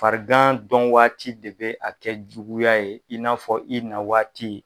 Farigan dɔn waati de bɛ a kɛ juguya ye in n'a fɔ i nawaati.